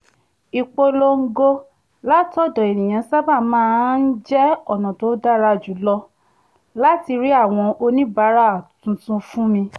ìpolongo látọ̀dọ̀ ènìyàn sábà máa ń jẹ́ ọ̀nà tó dára jù lọ láti rí àwọn oníbàárà tuntun fún mi